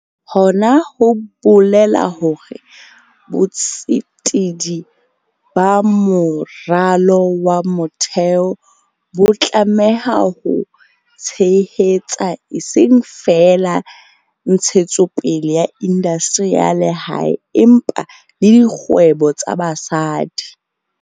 Hona ho bolela hore botsetedi ba moralo wa motheo bo tlameha ho tshehetsa eseng feela ntshetsopele ya indastri ya lehae, empa le dikgwebo tsa basadi.